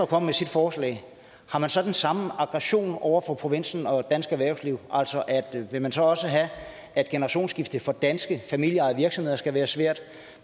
kommer med sit forslag så den samme aggression over for provinsen og dansk erhvervsliv altså vil man så også have at generationsskiftet for danske familieejede virksomheder skal være svært